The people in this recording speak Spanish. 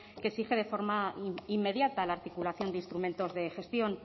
que exige de forma inmediata la articulación de instrumentos de gestión